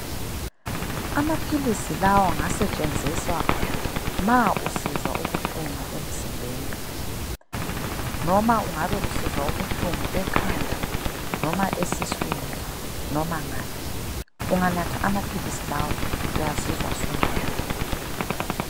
Amaphilisi lawa ngasetshenziswa ma usizwa ubuhlungu emzimbeni. Noma ungabe usizwa ubuhlungu ekhanda noma esiswini noma ngaphi. Unganatha amaphilisi lawa uyazizwa sungcono.